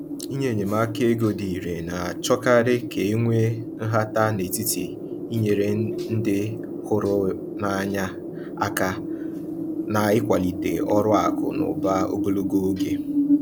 Inye enyemaka ego dị irè na-achọkarị ka e nwee nhata n’etiti inyere ndị hụrụ n’anya aka na ịkwalite ọrụ akụ na ụba ogologo oge.